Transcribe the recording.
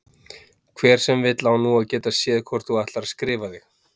Hver sem vill á nú að geta séð hvort þú ætlar að skrifa þig